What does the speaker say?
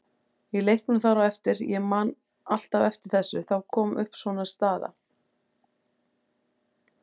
Í leiknum þar á eftir, ég man alltaf eftir þessu, þá kom upp svona staða.